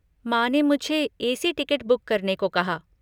माँ ने मुझे ए.सी. टिकट बुक करने को कहा।